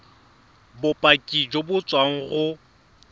bopaki jo bo tswang go